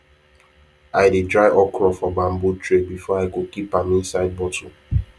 i dey dry okra for bamboo tray before i go keep am inside bottle